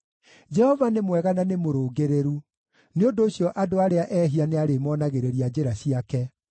Jehova nĩ mwega na nĩ mũrũngĩrĩru; nĩ ũndũ ũcio andũ arĩa ehia nĩarĩmonagĩrĩria njĩra ciake.